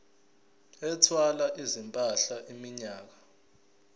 ethwala izimpahla iminyaka